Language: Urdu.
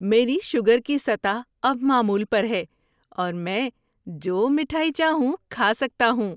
میری شوگر کی سطح اب معمول پر ہے اور میں جو میٹھائی چاہوں کھا سکتا ہوں۔